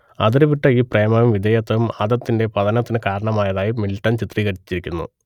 അതിരുവിട്ട ഈ പ്രേമവും വിധേയത്വവും ആദത്തിന്റെ പതനത്തിനു കാരണമായതായി മിൽട്ടൺ ചിത്രീകരിച്ചിരിക്കുന്നു